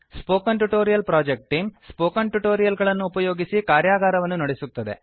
spoken tutorial project team spoken tutorial ಗಳನ್ನು ಉಪಯೋಗಿಸಿ ಕಾರ್ಯಾಗಾರಗಳನ್ನು ನಡೆಸುತ್ತದೆ